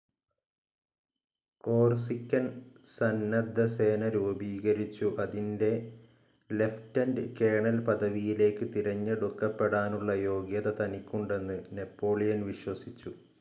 Corsican സന്നദ്ധസേന രൂപീകരിച്ചു അതിൻ്റെ ലെഫ്റ്റൻറ് കൊളോണൽ പദവിയിലേക്ക് തിരഞ്ഞെടുക്കപ്പെടാനുള്ള യോഗ്യത തനിക്കുണ്ടെന്ന് നാപ്പോളിയൻ വിശ്വസിച്ചു.